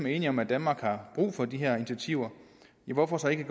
er enige om at danmark har brug for de her initiativer hvorfor så ikke